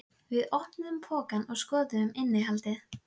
Hve dagarnir sýndust auðsveipir og sjálfsagðir eftir á!